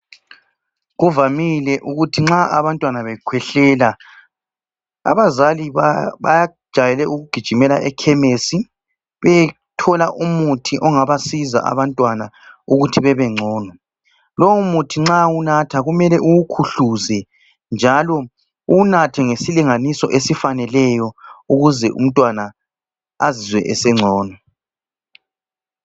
Kuvamile ukuthi nxa abantwana bekhwehlela, abazali bajayele ukugijimela ekhemisi beyethola umuthi ongabasiza abantwana ukuthi bebengcono. Lowomuthi nxa uwunatha kumele uwukhuhluze njalo uwunathe ngesilinganiso esifaneleyo ukuze umntwana azizwe esengcono.